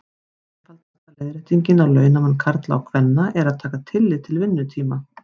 Einfaldasta leiðréttingin á launamun karla og kvenna er að taka tillit til vinnutíma.